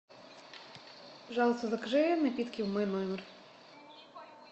пожалуйста закажи напитки в мой номер